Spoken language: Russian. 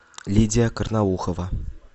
лидия карнаухова